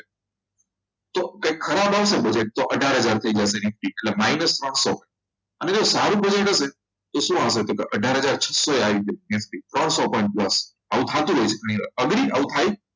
તો કંઈક ખરાબ આવશે budget અઢારહજાર થઈ જશે એટલે minus સો અને જો સારું budget હશે તો શું આવે અઢાર છસો આવી જાય ત્રણ સો પંચાસી થતું હોય છે કઈ વાર